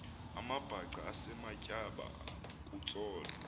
amabhaca esematyeba kutsolo